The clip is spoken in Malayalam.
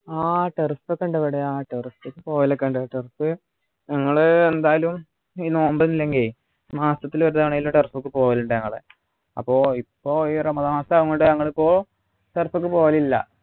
ആഹ് turf ഒക്കെ ഉണ്ട് ഇവിടെ ആഹ് turf ൽ പോകലൊക്കെ ഉണ്ട് turf ഞങ്ങള് എന്തായാലും ഈ നോമ്പ് അല്ലെങ്കി മാസത്തിൽ ഒരു തവണ എങ്കിലും turf ക്കു പോകലുണ്ട് ഞാള് അപ്പൊ ഇപ്പൊ ഈ റമദാൻ മാസം ആയ കൊണ്ട് നമ്മളിപ്പോ turf ക്കു പോകലില്ല